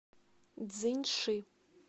цзиньши